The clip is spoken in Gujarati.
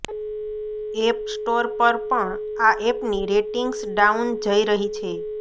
એપ સ્ટોર પર પણ આ એપની રેટિંગ્સ ડાઉન જઇ રહી છે